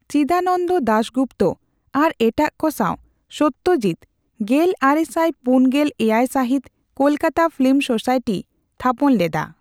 ᱪᱤᱫᱟᱱᱚᱱᱫᱚ ᱫᱟᱥ ᱜᱩᱯᱛᱚ ᱟᱨ ᱮᱴᱟᱜᱠᱚ ᱥᱟᱣ ᱥᱚᱛᱚᱡᱤᱛ ᱜᱮᱞᱟᱨᱮᱥᱟᱭ ᱯᱩᱱᱜᱮᱞ ᱮᱭᱟᱭ ᱥᱟᱦᱤᱫ ᱠᱚᱞᱠᱟᱛᱟ ᱯᱷᱤᱞᱢᱚ ᱥᱳᱥᱟᱭᱴᱤ ᱛᱷᱟᱯᱚᱱ ᱞᱮᱫᱟ᱾